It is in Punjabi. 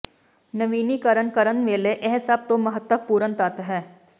ਨਵੀਨੀਕਰਨ ਕਰਨ ਵੇਲੇ ਇਹ ਸਭ ਤੋਂ ਮਹੱਤਵਪੂਰਣ ਤੱਤ ਹੈ